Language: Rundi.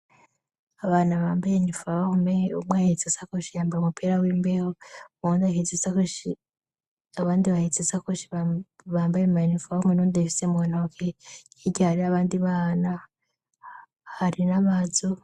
Abantu bambaye iniforme. Umwe aheste isakoshe yambaye umupira w'imbeho w'umuhondo, uwundi ahetse isakoshi yambaye maenifaw humwe nonda ifise mugana ake y'iga hari avandi vaana hari na vadzo.